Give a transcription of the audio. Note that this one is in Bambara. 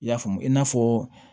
I y'a faamu i n'a fɔ